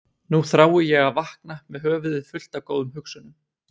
Nú þrái ég að vakna með höfuðið fullt af góðum hugsunum.